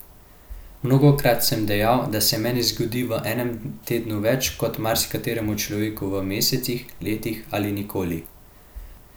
Mnogokrat sem dejal, da se meni zgodi v enem tednu več kot marsikateremu človeku v mesecih, letih ali nikoli.